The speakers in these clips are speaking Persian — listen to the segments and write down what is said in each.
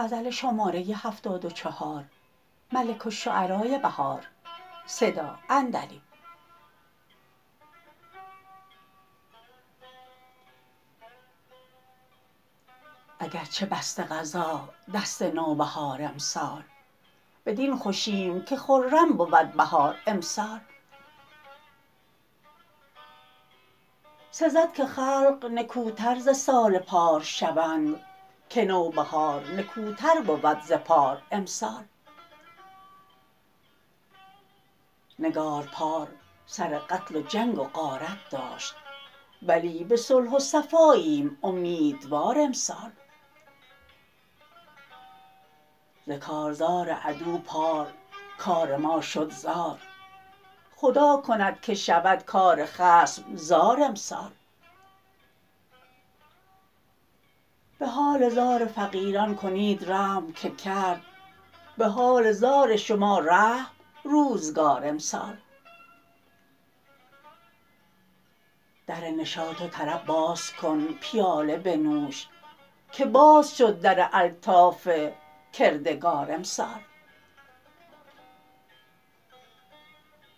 اگرچه بسته قضا دست نوبهار امسال بدین خوشیم که خرم بود بهار امسال سزد که خلق نکوتر ز سال پار شوند که نوبهار نکوتر بود ز پار امسال نگار پار سر قتل و جنگ و غارت داشت ولی به صلح و صفاییم امیدوار امسال ز کارزار عدو پار کار ما شد زار خدا کند که شود کار خصم زار امسال به حال زار فقیران کنید رحم که کرد به حال زار شما رحم روزگار امسال در نشاط و طرب بازکن پیاله بنوش که باز شد در الطاف کردگار امسال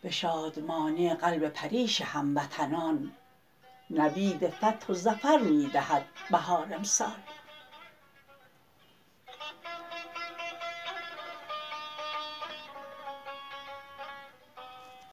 به شادمانی قلب پریش هموطنان نوید فتح و ظفر می دهد بهار امسال